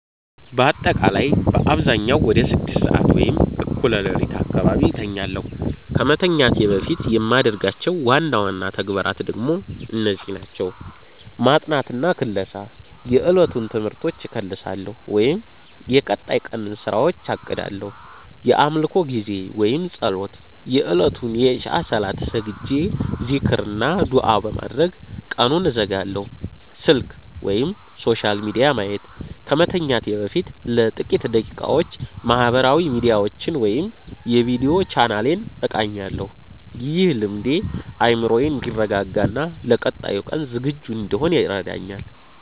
ባጠቃላይ በአብዛኛው ወደ 6:00 ሰዓት (እኩለ ሌሊት) አካባቢ እተኛለሁ። ከመተኛቴ በፊት የማደርጋቸው ዋና ዋና ተግባራት ደግሞ እነዚህ ናቸው፦ ማጥናትና ክለሳ፦ የዕለቱን ትምህርቶች እከልሳለሁ ወይም የቀጣይ ቀንን ስራዎች አቅዳለሁ። የአምልኮ ጊዜ (ፀሎት)፦ የእለቱን የኢሻእ ሰላት ሰግጄ፣ ዚክር እና ዱዓ በማድረግ ቀኑን እዘጋለሁ። ስልክ/ሶሻል ሚዲያ ማየት፦ ከመተኛቴ በፊት ለጥቂት ደቂቃዎች ማህበራዊ ሚዲያዎችን ወይም የቪዲዮ ቻናሌን እቃኛለሁ። ይህ ልምዴ አእምሮዬ እንዲረጋጋና ለቀጣዩ ቀን ዝግጁ እንድሆን ይረዳኛል።